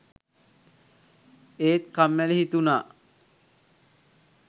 ඒත් කම්මැලි හිතුනා.